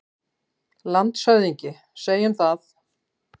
LANDSHÖFÐINGI: Segjum það.